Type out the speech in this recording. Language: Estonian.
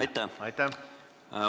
Aitäh!